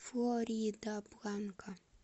флоридабланка